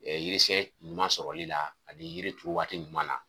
yirisiyɛn ɲuman sɔrɔli la ani yirituru waati ɲuman na.